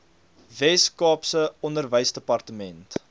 wes kaapse onderwysdepartement